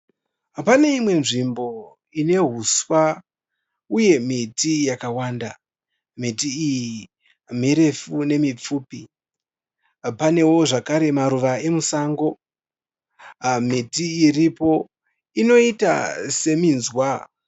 Pane imwe nzvimbo ine huswa uye miti yakawanda. Miti iyi mirefu nemipfupi. Panewo zvakare maruva emusango. Miti iripo inoita seminzwa.